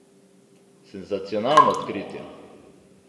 Senzacionalno odkritje!